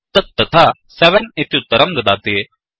तत् तथा 7 इत्युत्तरं ददाति